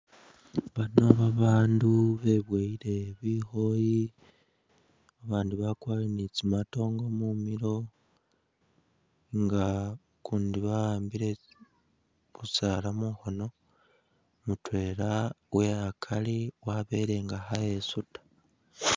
Bano babandu bebowele bikhoyi abandi bakwarire ni tsi matongo mumilo nga ukundi bawambile kusala mungono mutwela uwe’akari wabele nga kha’esuta.